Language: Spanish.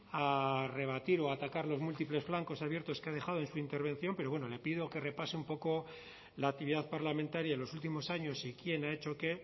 a rebatir o atacar los múltiples flancos abiertos que ha dejado en su intervención pero bueno le pido que repase un poco la actividad parlamentaria en los últimos años y quién ha hecho qué